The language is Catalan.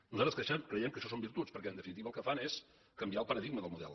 nosaltres creiem que això són virtuts perquè en definitiva el que fan és canviar el paradigma del model